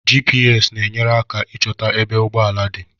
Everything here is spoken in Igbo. GPS ne enyere aka ịchota ebe ụgbọala dị